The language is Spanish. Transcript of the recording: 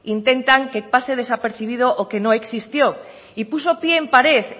intentan que pase desapercibido o que no existió y puso pie en pared